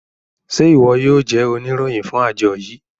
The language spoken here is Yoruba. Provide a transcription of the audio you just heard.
Ṣe iwọ yoo jẹ oniroyin fun ajo yii?